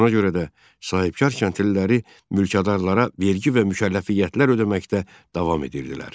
Ona görə də sahibkar kəndliləri mülkədarlara vergi və mükəlləfiyyətlər ödəməkdə davam edirdilər.